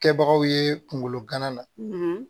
Kɛbagaw ye kungolo gana na